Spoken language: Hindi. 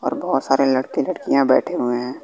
और बहोत सारे लड़के लड़कियां बैठे हुए हैं।